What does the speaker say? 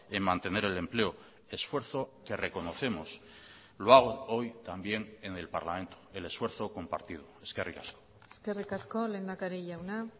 en mantener el empleo esfuerzo que reconocemos lo hago hoy también en el parlamento el esfuerzo compartido eskerrik asko eskerrik asko lehendakari jauna